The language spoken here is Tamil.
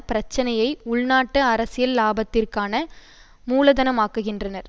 பிரச்சனையை உள்நாட்டு அரசியல் இலாபத்திற்கான மூலதனமாக்குகின்றார்